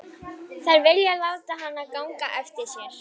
Þær vilja láta ganga eftir sér.